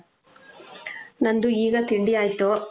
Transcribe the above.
ನಂದು ಈಗ ತಿಂಡಿ ಆಯ್ತು.